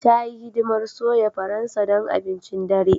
Ta yi hidimar soya Faransa don abincin dare.